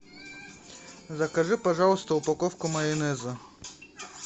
закажи пожалуйста упаковку майонеза